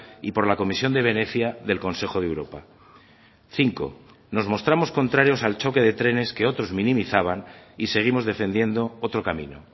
y por la comisión de venecia del consejo de europa cinco nos mostramos contrarios al choque de trenes que otros minimizaban y seguimos defendiendo otro camino